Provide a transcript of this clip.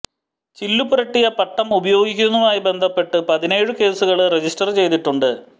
ചില്ലുപുരട്ടിയ പട്ടം ഉപയോഗിക്കുന്നതുമായി ബന്ധപ്പെട്ട് പതിനേഴ് കേസുകള് രജിസ്റ്റര് ചെയ്തിട്ടുണ്ട്